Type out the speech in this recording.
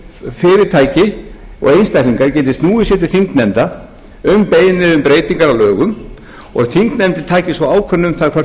fyrirtæki og einstaklingar geti snúið sér til þingnefnda um beiðni um breytingar á lögum og þingnefndir tækju svo ákvörðun um það hvort þær flytja um